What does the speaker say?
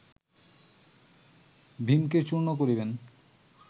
ভীমকে চূর্ণ করিবেন